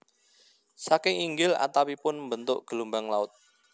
Saking inggil atapipun mbentuk gelombang laut